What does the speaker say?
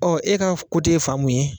e ka f ye fan mun ye